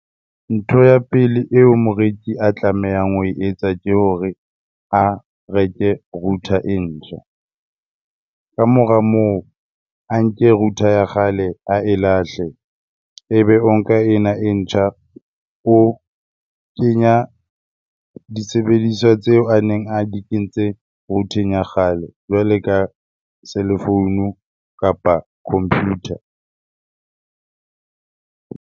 Ntho ya pele eo moreki a tlamehang ho etsa ke hore a reke router e ntjha. Kamora moo, a nke router ya kgale a e lahle ebe o nka ena e ntjha o kenya disebediswa tseo a neng a di kentse router-eng ya kgale jwale ka cellphone-u kapa computer.